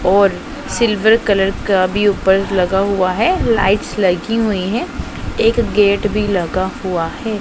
और silver colour का भी ऊपर लगा हुआ है लाइटस लगी हुई हैं एक गेट भी लगा हुआ है।